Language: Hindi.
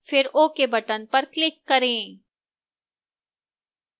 फिर ok button पर click करें